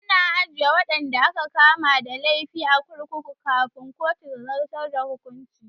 Ana ajiye waɗanda aka kama da laifi a kurkuku kafin kotu ta zartar da hukuncin